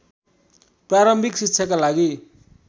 प्रारम्भिक शिक्षाका लागि